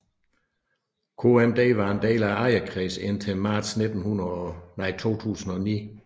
KMD var en del af ejerkredsen indtil marts 2009